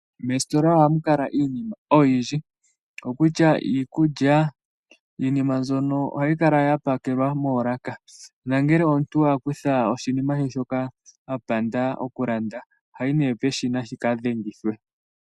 Moostola ohamu kala iinima oyindji ngashi iikulya, iinima mbyoka ohayi kala ya pakelwa moolaka, nangele wa kutha oshinima shoye shoka wapanda oku landa, ohoyi ne peshina shika dhengithwe.